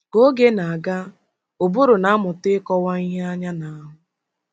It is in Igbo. Ka oge na-aga, ụbụrụ na-amụta ịkọwa ihe anya na-ahụ.